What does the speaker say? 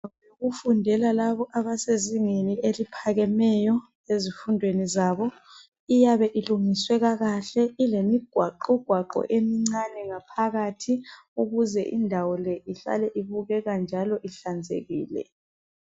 Kufundela labo abasezingeni eliphakemeyo ezifundweni zabo iyabe ilungiswe kakahle ilemi gwaqogwaqo emincane ngaphakathi ukuze indawo le ihlale ibukeka njalo ihlanzekile.